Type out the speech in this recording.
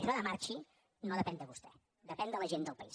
això de marxi no depèn de vostè depèn de la gent del país